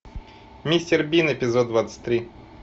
мистер бин эпизод двадцать три